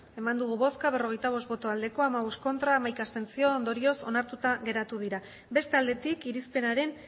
eman dugu bozka berrogeita bost bai hamabost ez hamaika abstentzio ondorioz onartuta geratu dira beste aldetik irizpenaren